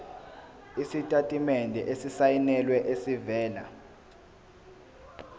isitatimende esisayinelwe esivela